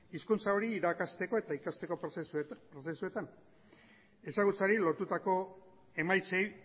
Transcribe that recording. hizkuntza hori irakasteko eta ikasteko prozesuetan ezagutzari lotutako emaitzei